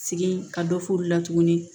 Sigi ka dɔ f'olu la tuguni